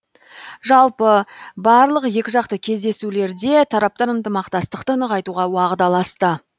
жалпы барлық екіжақты кездесулерде тараптар ынтымақтастықты нығайтуға уағдаласты